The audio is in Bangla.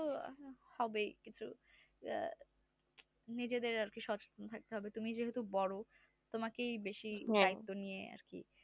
ও তো অবশ্যই হবে আহ নিজেদের এখন সতর্ক থাকতে হবে তুমি যেহেতু বড় তোমাকেই দেখে নিতে হবে